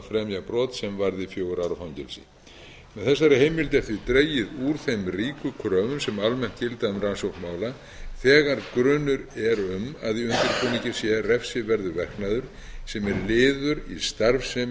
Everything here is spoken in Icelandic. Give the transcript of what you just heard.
fremja brot sem varði fjögurra ára fangelsi með þessari heimild er því dregið úr þeim ríku kröfum sem almennt gilda um rannsókn mála þegar grunur er um að í undirbúningi sé refsiverður verknaður sem er